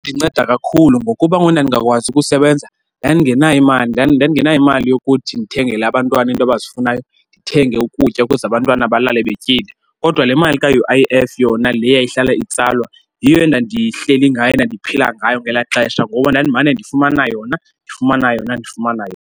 Inceda kakhulu ngokuba ngoku ndandingakwazi ukusebenza ndandingenayo imali, nandingenayo imali yokuthi ndithengele abantwana iinto abazifunayo, ndithenge ukutya ukuze abantwana belale betyile. Kodwa le mali ka-U_I_F yona le yayihlala itsalwa yiyo endandihleli ngayo, endandiphila ngayo ngelaa xesha. Ngoba ndandimane ndifumana yona, ndifumana yona, ndifumana yona.